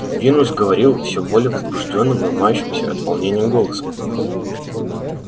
венус говорил всё более возбуждённым ломающимся от волнения голосом